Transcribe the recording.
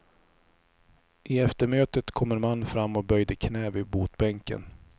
I eftermötet kom en man fram och böjde knä vid botbänken.